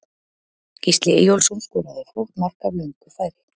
Gísli Eyjólfsson skoraði flott mark af löngu færi.